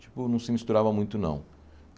Tipo, não se misturava muito, não.